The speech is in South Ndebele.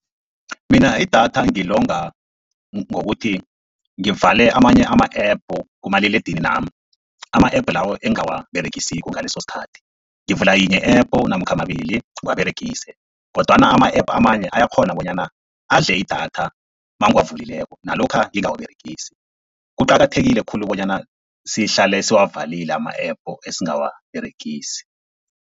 Mina idatha ngilonga ngokuthi ngivale amanye ama-epu kumaliledininami, ama-app lawo engingawaberegisiko ngalesosikhathi. Ngivula yinye i-app namkha mabili ngiwaberegise kodwana ama-app amanye, ayakghona bonyana adle idatha nangiwavulileko nalokha ngingawaberegisi. Kuqakathekile khulu bonyana sihlale siwavalile ama-app esingawaberegisi.